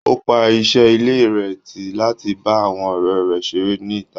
Ó pa iṣẹ́ ilé rẹ̀ tì láti bá àwọn ọ̀rẹ́ rẹ̀ ṣeré ní ìta.